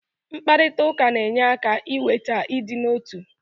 mkparịta ụka na-enye aka iweta ịdị n'otu